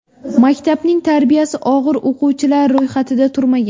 Maktabning tarbiyasi og‘ir o‘quvchilari ro‘yxatida turmagan.